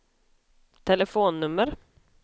telefonnummer